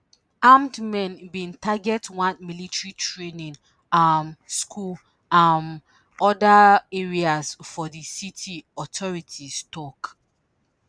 armed men bin target one military training um school and um oda areas for di city authorities tok